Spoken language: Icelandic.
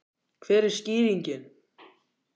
Hver er skýringin?